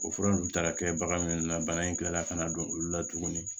O fura ninnu taara kɛ bagan minnu na bana in kilala ka na don olu la tuguni